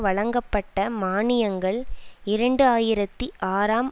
வழங்கப்பட்ட மானியங்கள் இரண்டு ஆயிரத்தி ஆறாம்